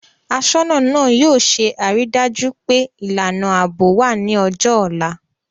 Aṣọ́nà náà yóò ṣe àrídájú pé ìlànà ààbò wà ní ọjọ́ ọ̀la